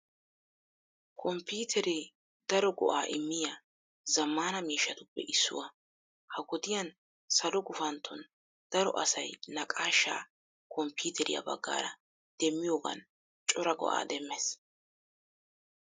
Komppiiteree daro go"aa immiya zammaana miishshatuppe issuwaa. Ha wodiyan salo gufantton daro asay naqaashaa komppiiteriyaa baggaara demmiyoogan cora go"aa demmees.